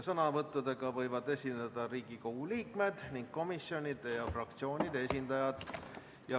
Sõnavõtuga võivad esineda Riigikogu liikmed ning komisjonide ja fraktsioonide esindajad.